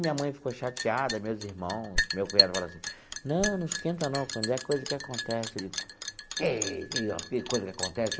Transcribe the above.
Minha mãe ficou chateada, meus irmãos, meu cunhado, falou assim... Não, não esquenta não, quando é coisa que acontece... Que que coisa que acontece?